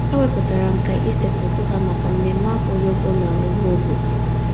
Ha wepụtara nkà ịse foto ha maka mmemme akwụghị ụgwọ n'ọhaobodo.